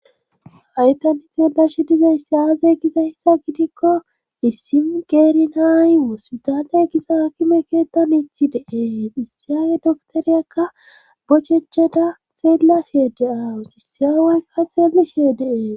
Hay tani xeellashe dizayssi aazey gidayssa gidikko issin qeerinaaywoospidane giza hakime keettan ithi deee issiyaawe doktoriyakka bochecheda xeellashe de7aawu sisiyawoykka xeelishe deee.